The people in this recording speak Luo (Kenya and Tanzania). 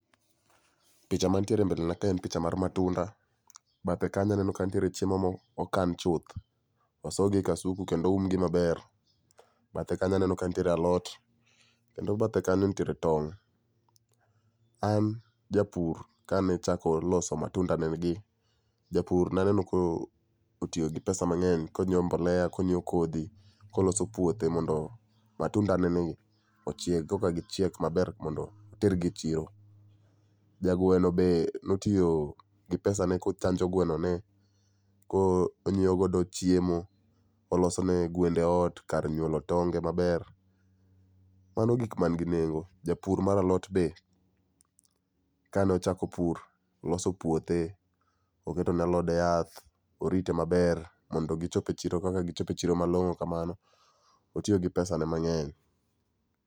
Picha mantiere e mbelena ka en picha mar matunda, bathe kanyo aneno ka nitiere chiemo mo okan chuth, osogi ei kasuku kendo oumgi maber. Bathe kanyo aneno kantiere alot, kendo bathe kanyo nitiere tong'. An japur kanechako loso matundane gi, japur naneno ka otiyo gi kodhi mang'eny konyiewo mbolea konyiewo kodhi, koloso puothe. Mondo matunda neni ochieg koka gichiek maber mondo otergi e chiro. Jagweno be notiyo gi pesa ne kochanjo gweno ni ko onyiewo godo chiemo, oloso ne gwende ot kar nyuolo tonge maber, mano gik man gi nengo. Japur mar alot be kanochako pur, oloso puothe, oketo ne alode yath, orite maber mondo gichop e chiro kaka gichope chiro malong'o kamano, otiyo gi pesa ne mang'eny.